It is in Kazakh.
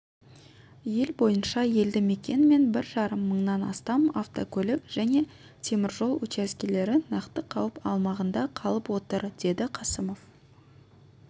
ел бойынша елді мекен мен бір жарым мыңнан астам автокөлік және темір жол учаскелері нақты қауіп аумағында қалып отыр деді қасымов